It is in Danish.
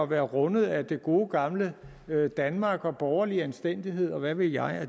være rundet af det gode gamle danmark og borgerlig anstændighed og hvad ved jeg